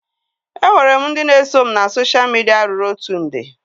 E nwere m ndị na eso m na sosha midia ruru otu nde